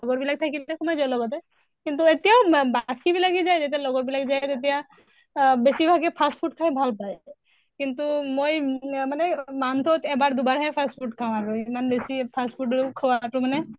লগৰ বিলাক থেকিলে তো সোমাই যাওঁ লগতে। কিন্তু এতিয়াও মা বিলাকে যায় যেতিয়া লগৰ বিলাক যায় তেতিয়া আহ বেছি ভাগে fast food খাই ভাল পায়। কিন্তু মই মানে month ত এবাৰ দুবাৰহে fast food খাওঁ আৰু। ইমান বেছি fast food ৰো খোৱাতো মানে